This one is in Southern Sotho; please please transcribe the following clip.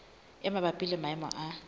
e mabapi le maemo a